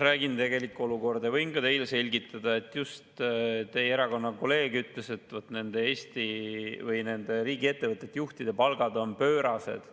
Räägin, kuidas tegelikult on, ja võin teile selgitada, et just teie erakonna kolleeg ütles, et nende riigiettevõtete juhtide palgad on pöörased.